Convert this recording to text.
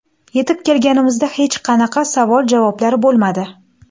Yetib kelganimizda hech qanaqa savol-javoblar bo‘lmadi.